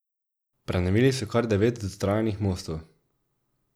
Prenovili so kar devet dotrajanih mostov.